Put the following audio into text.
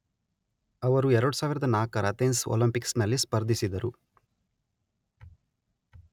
ಅವರು ಎರಡುಸಾವಿರದ ನಾಲ್ಕರ ಅಥೆನ್ಸ್ ಒಲಿಂಪಿಕ್ಸ್ ನಲ್ಲಿ ಸ್ಪರ್ಧಿಸಿದರು